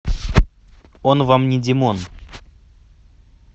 он вам не димон